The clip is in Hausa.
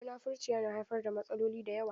Munafurci yana haifar da matsaloli da yawa.